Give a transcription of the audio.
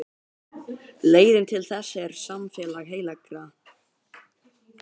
Leiðin til þess er samfélag heilagra.